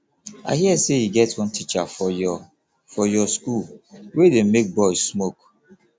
i hear say e get one teacher for your for your school wey dey make boys smoke